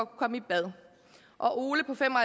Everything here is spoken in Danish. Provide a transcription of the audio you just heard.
komme i bad og ole på fem og